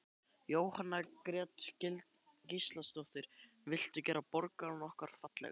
Jóhanna Margrét Gísladóttir: Viltu gera borgina okkar fallegri?